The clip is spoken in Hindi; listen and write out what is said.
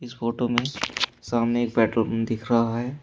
इस फोटो में सामने एक पेट्रोल पंप दिख रहा है।